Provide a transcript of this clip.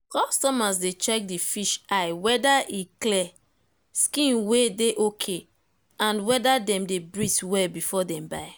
customers dey check the fish eye whether e clear skin wey dey ok and hwhther them dey breathe well before dem buy.